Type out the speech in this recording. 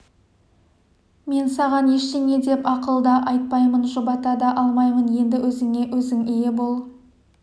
мен саған ештеңе деп ақыл да айтпаймын жұбата да алмаймын енді өзіңе-өзің ие бол